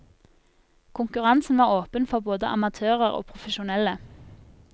Konkurransen var åpen for både amatører og profesjonelle.